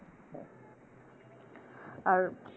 আর